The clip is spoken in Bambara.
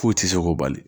K'o tɛ se k'o bali